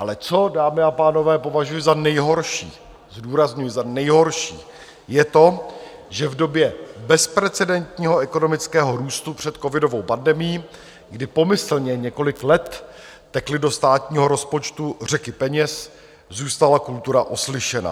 Ale co, dámy a pánové, považuji za nejhorší, zdůrazňuji, za nejhorší, je to, že v době bezprecedentního ekonomického růstu před covidovou pandemií, kdy pomyslně několik let tekly do státního rozpočtu řeky peněz, zůstala kultura oslyšena.